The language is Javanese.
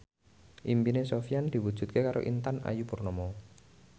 impine Sofyan diwujudke karo Intan Ayu Purnama